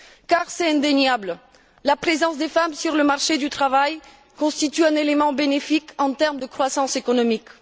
Car c'est indéniable, la présence des femmes sur le marché du travail constitue un élément bénéfique en termes de croissance économique.